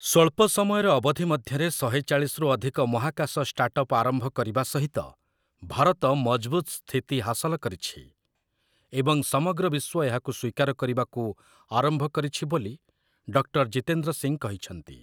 ସ୍ୱଳ୍ପ ସମୟର ଅବଧି ମଧ୍ୟରେ ଶହେ ଚାଳିଶରୁ ଅଧିକ ମହାକାଶ ଷ୍ଟାର୍ଟଅପ୍ ଆରମ୍ଭ କରିବା ସହିତ ଭାରତ ମଜଭୁତ ସ୍ଥିତି ହାସଲ କରିଛି, ଏବଂ ସମଗ୍ର ବିଶ୍ୱ ଏହାକୁ ସ୍ୱୀକାର କରିବାକୁ ଆରମ୍ଭ କରିଛି ବୋଲି ଡକ୍ଟର୍ ଜିତେନ୍ଦ୍ର ସିଂ କହିଛନ୍ତି ।